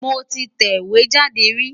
Mo ti tẹ ìwé jáde rí.